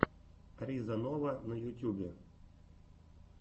риза нова на ютьюбе